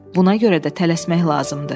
"Buna görə də tələsmək lazımdır."